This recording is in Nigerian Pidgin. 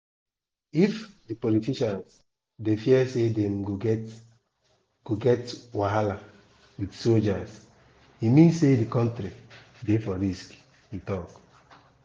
"if di politicians dey fear say dem go get go get wahala wit soldiers e mean say di kontiri dey for risk" e tok.